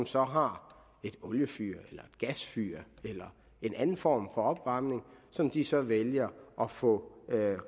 så har et oliefyr et gasfyr eller en anden form for opvarmning som de så vælger at få